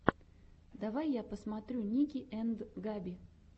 давай я посмотрю ники энд габи